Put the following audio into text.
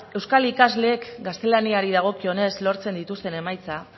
euskal ikasleek gaztelaniari dagokionez lortzen dituzten emaitza